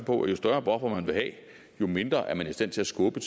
på at jo større en buffer man vil have jo mindre er man i stand til at skubbe